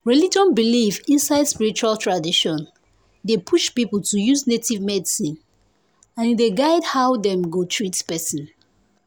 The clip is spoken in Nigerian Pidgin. religion belief inside spiritual tradition dey push people to use native medicine and e dey guide how dem go treat person.